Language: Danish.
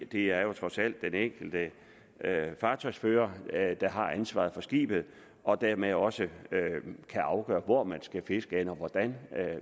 det er jo trods alt den enkelte fartøjsfører der har ansvaret for skibet og dermed også kan afgøre hvor man skal fiske henne og hvordan